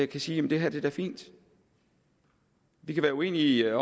kan sige jamen det her er da fint vi kan være uenige